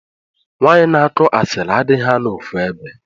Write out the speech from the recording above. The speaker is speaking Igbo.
Nwanyi na akụ asilli adighi anọ ofuebe.